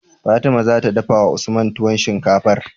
Fatima zata dafawa usman tuwon shinkafar?